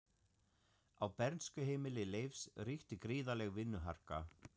Á bernskuheimili Leifs ríkti gríðarleg vinnuharka.